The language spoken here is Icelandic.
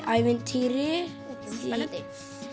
ævintýri spennandi